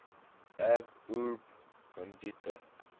ab urbe condita